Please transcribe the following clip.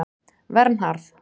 Vernharð